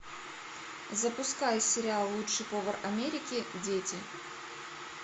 запускай сериал лучший повар америки дети